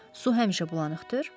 Su həmişə bulanıqdır.